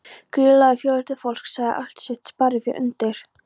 Gríðarlegur fjöldi fólks lagði allt sitt sparifé undir.